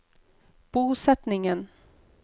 bosetningen